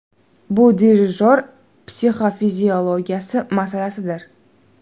Bu dirijor psixofiziologiyasi masalasidir.